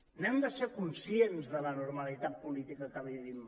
n’hem de ser cons·cients de l’anormalitat política que vivim